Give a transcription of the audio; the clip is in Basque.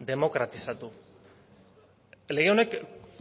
demokratizatu lege honek